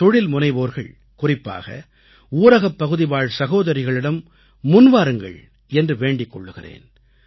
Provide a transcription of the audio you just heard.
தொழில்முனைவோர்கள் குறிப்பாக ஊரகப் பகுதிவாழ் சகோதரிகளிடம் முன்வாருங்கள் என்று வேண்டிக் கொள்கிறேன்